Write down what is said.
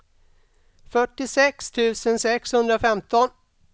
fyrtiosex tusen sexhundrafemton